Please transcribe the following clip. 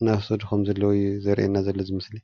እናወሰዱ ከም ዘለዉ ዘርእየና ዘሎ እዚ ምስሊ፡፡